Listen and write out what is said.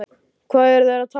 Hvað eru þeir að tala um?